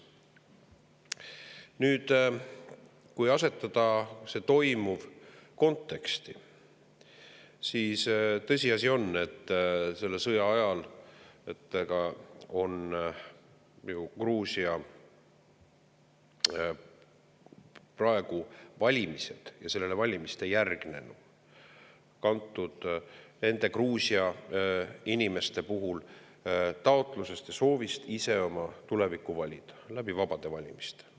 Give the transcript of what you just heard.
Nüüd, kui asetada kõik toimuv konteksti, siis tõsiasi on, et selle sõja ajal on Gruusia valimised ja valimistele järgnenu kantud Gruusia inimeste taotlusest ja soovist ise oma tulevikku valida vabade valimiste abil.